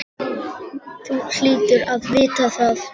Þú hlýtur að vita það.